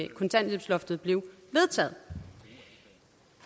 kontanthjælpsloftet blev vedtaget